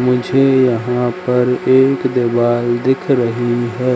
मुझे यहां पर एक दीवाल दिख रही है